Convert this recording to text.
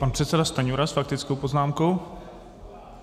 Pan předseda Stanjura s faktickou poznámkou.